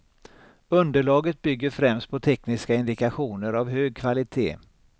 Underlaget bygger främst på tekniska indikationer av hög kvalitet.